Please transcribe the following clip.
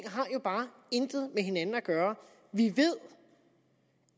bare intet med hinanden at gøre vi ved